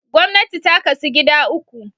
Gwamnti ta kasu gida uku